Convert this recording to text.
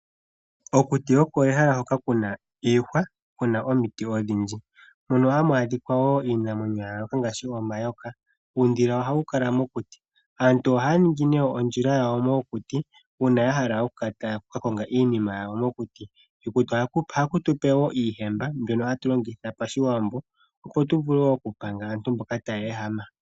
Okuti olyo ehala ndyoka lina iihwa nomiti odhindji. Ohamu adhika iinamwenyo yayooloka ngaashi omayoka. Uudhila ohawu kala mokuti. Aantu ohaya ningi ondjila mokuti uuna ya hala okuka konga iinima yawo mokuti. Mokuti omo woo hamu zi iihemba mbyoka hayi longithwa pashiwambo okupanga aantu mboka taya ehama.